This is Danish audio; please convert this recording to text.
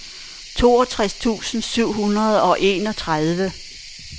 toogtres tusind syv hundrede og enogtredive